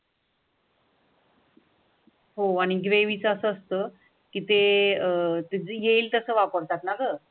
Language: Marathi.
हो आनी ग्रेव्हीचा असा आस्तो कि ते अह येईल तसं वापरतात ना घ.